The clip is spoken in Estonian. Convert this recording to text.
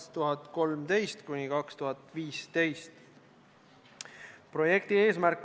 Me peame arvestama, et Eestis sõidavad rongiga kõikide riikide reisijad.